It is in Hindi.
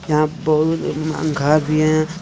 यहां बहुत घर भी है।